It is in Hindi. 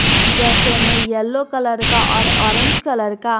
जैसे में येलो कलर का और ऑरेंज कलर का--